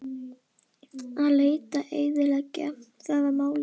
Að leita og eyðileggja: það var málið.